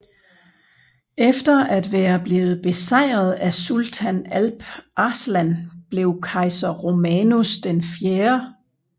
Efter at være blevet besejret af sultan Alp Arslan blev kejser Romanus 4